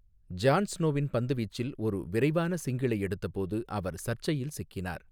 John ஸ்னோவின் பந்துவீச்சில் ஒரு விரைவான சிங்கிளை எடுத்தபோது அவர் சர்ச்சையில் சிக்கினார்.